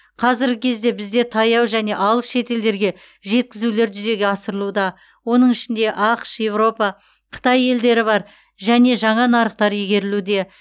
қазіргі кезде бізде таяу және алыс шетелдерге жеткізулер жүзеге асырылуда оның ішінде ақш еуропа қытай елдері бар және жаңа нарықтар игерілуде